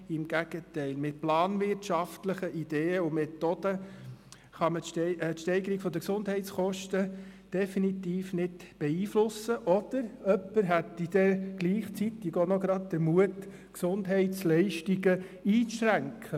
Im Gegenteil: Mit planwirtschaftlichen Ideen und Methoden kann man die Steigerung der Gesundheitskosten definitiv nicht beeinflussen, oder jemand hätte dann gleichzeitig auch gerade noch den Mut, Gesundheitsleistungen einzuschränken: